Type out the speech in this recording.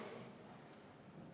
Aitäh!